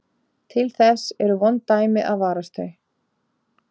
Til þess eru vond dæmi að varast þau.